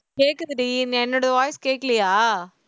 கேக்குதுடி என்னோட voice கேக்கலையா